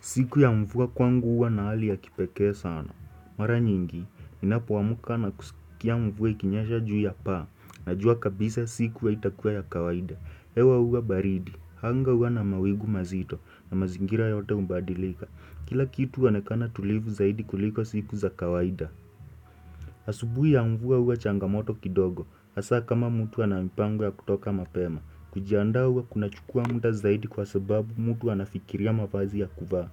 Siku ya mvua kwangu uwa na hali ya kipekee sana. Mara nyingi, ninapoamka na kusikia mvua ikinyesha juu ya paa, najua kabisa siku haitakuwa ya kawaida. Ewa uwa baridi, hanga uwa na mawigu mazito, na mazingira yote umbadilika. Kila kitu huonekana tulivu zaidi kuliko siku za kawaida. Asubui ya mvua huwa changamoto kidogo, hasa kama mtu ana mipango ya kutoka mapema. Kujiandaa huwa kunachukua muda zaidi kwa sababu mtu anafikiria mavazi ya kuvaa.